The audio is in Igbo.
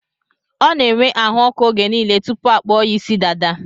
Ọ n'enwe ahụọkụ oge niile tụpụ akpụọ ya ịsị dada